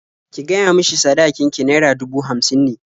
Ki gaya mishi sadakin ki naira dubu hamsin ne.